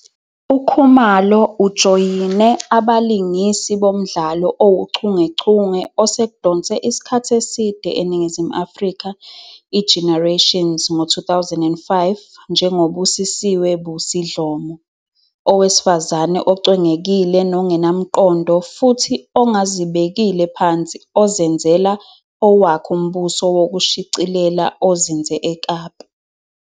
UKhumalo ujoyine abalingisi bomdlalo owuchungechunge osekudonse isikhathi eside eNingizimu Afrika ", iGenerations" ngo-2005 njengoBusiswe, Busi, Dlomo, owesifazane ocwengekile nongenamqondo futhi ongazibekile phansi ozenzela "owakhe umbuso wokushicilela, ozinze eKapa".